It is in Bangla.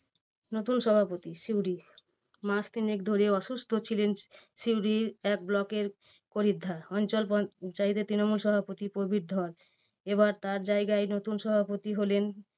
নতুন সভাপতি সিউড়ি মাস তিনেক ধরে অসুস্থ ছিলেন সিউড়ি এক block এর পরিদ্ধ অঞ্চল পঞ্চায়েতের তৃণমূল সভাপতি প্রবীর ধর। এবার তার জায়গায় নতুন সভাপতি হলেন